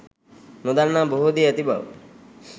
නොදන්නා බොහෝ දේ ඇති බව